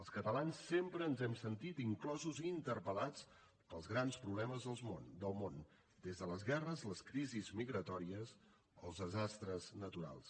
els catalans sempre ens hem sentit inclosos i interpel·lats pels grans problemes del món des de les guerres les crisis migratòries fins als desastres naturals